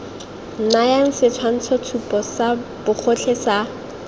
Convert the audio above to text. nayang setshwantshotshupo sa bogotlhe sa